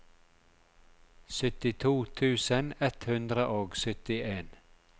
syttito tusen ett hundre og syttien